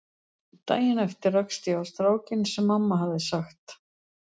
Daginn eftir rakst ég á strákinn sem mamma hafði sagt